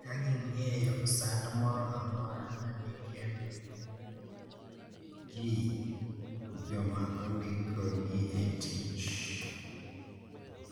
Kagigeng`o sand moro amora madekel gi joma ondikogi e tich.